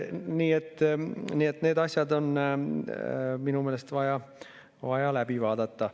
Nii et need asjad on minu meelest vaja läbi vaadata.